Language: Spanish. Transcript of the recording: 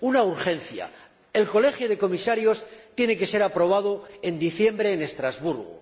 Una urgencia el Colegio de Comisarios tiene que ser aprobado en diciembre en Estrasburgo.